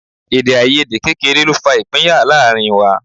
Èdèàìyedè kékeré ló fa ìpínyà láàrin wa